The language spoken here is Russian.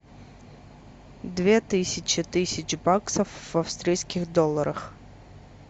две тысячи тысяч баксов в австралийских долларах